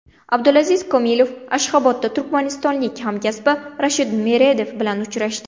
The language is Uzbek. Abdulaziz Komilov Ashxabodda turkmanistonlik hamkasbi Rashid Meredov bilan uchrashdi.